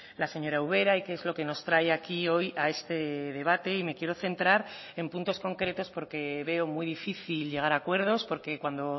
la señora ubera y qué es lo que nos trae aquí hoy a este debate y me quiero centrar en puntos concretos porque veo muy difícil llegar a acuerdos porque cuando